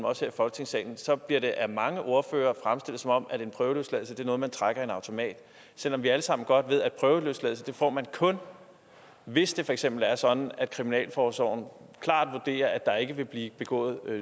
også her i folketingssalen bliver det af mange ordførere fremstillet som om en prøveløsladelse er noget man trækker i en automat selv om vi alle sammen godt ved at prøveløsladelse får man kun hvis det for eksempel er sådan at kriminalforsorgen klart vurderer at der ikke vil blive begået